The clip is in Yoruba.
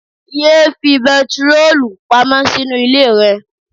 Yéé fi bentiroolu pamọ́ sínú ilé rẹ.